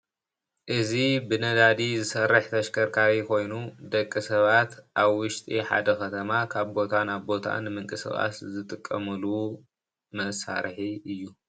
እዚ ብነዳዲ ዝሰርሕ ተሽከርካሪ ኮይኑ ደቂ ሰባት ኣብ ውሽጢ ሓደ ከተማ ካብ ቦታ ናብ ቦታ ንምንቅስቃስ ዝጥቀሙሉ መሳሪሒ እዩ።